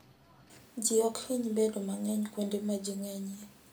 Ji ok hiny bedo mang'eny kuonde ma ji ng'enyie.